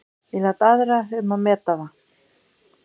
Ég læt aðra um að meta það.